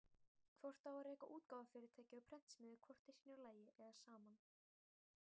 Hvort á að reka útgáfufyrirtæki og prentsmiðju hvort í sínu lagi eða saman?